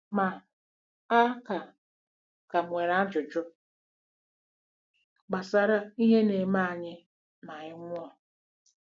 Ma, a ka ka m nwere ajụjụ gbasara ihe na-eme anyị ma anyị nwụọ.